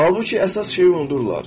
Halbuki əsas şeyi unudurlar.